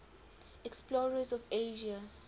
explorers of asia